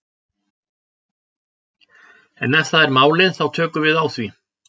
En ef það er málið þá tökum við á því.